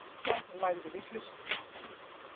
Edda lagði við hlustir.